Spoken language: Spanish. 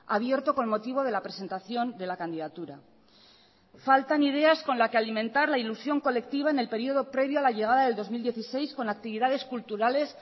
abierto con motivo de la presentación de la candidatura faltan ideas con la que alimentar la ilusión colectiva en el periodo previo a la llegada del dos mil dieciséis con actividades culturales